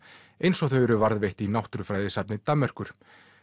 eins og þau eru varðveitt í Danmerkur